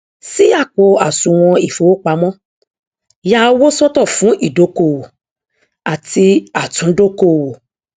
ṣí àpò àsùwọn ìfowópamọ ya owó sọtọ fún ìdókòwò àti àtúndókòwò